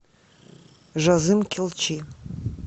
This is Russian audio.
жазым келчи